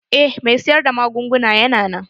Eh mai siyar da magunguna yana nan.